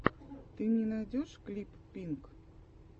ты мне найдешь клип пинк